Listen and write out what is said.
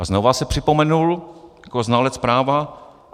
A znova se připomenul jako znalec práva.